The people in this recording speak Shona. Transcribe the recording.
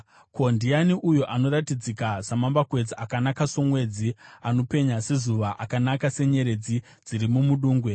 Ko, ndiani uyo anoratidzika samambakwedza, akanaka somwedzi, anopenya sezuva, akanaka senyeredzi dziri mumudungwe?